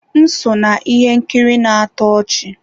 M so na ihe nkiri na-atọ ọchị.